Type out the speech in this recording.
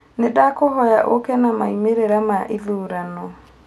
Nĩndakũhoya ũũke na maumĩrira ma ithurano.